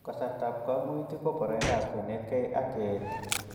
Kasartap koimutik ko poroindap kenetkey ak keet